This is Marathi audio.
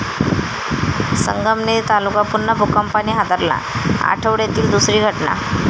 संगमनेर तालुका पुन्हा भूकंपाने हादरला, आठवड्यातली दुसरी घटना